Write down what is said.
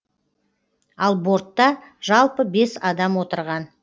ал бортта жалпы бес адам отырған